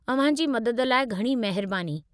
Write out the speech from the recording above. अव्हां जी मदद लाइ घणी महिरबानी।